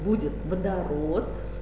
будет водород